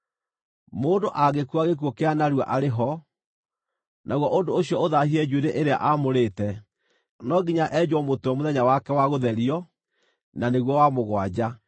“ ‘Mũndũ angĩkua gĩkuũ kĩa narua arĩ ho, naguo ũndũ ũcio ũthaahie njuĩrĩ ĩrĩa aamũrĩte, no nginya enjwo mũtwe mũthenya wake wa gũtherio, na nĩguo wa mũgwanja.